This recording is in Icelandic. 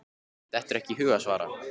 Dettur ekki í hug að svara.